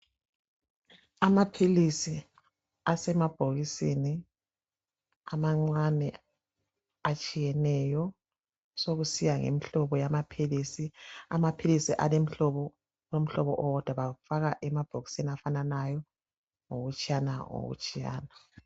Amaphilisi asemabhokisini amancane atshiyeneyo sokusiya ngemihlobo yamaphilisi . Amaphilisi alomhlobo owodwa bawufaka emabhokisini afananayo ngokutshiyana ngokutshiyana.